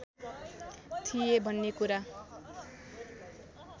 थिए भन्ने कुरा